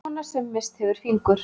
Kona sem hefur misst fingur.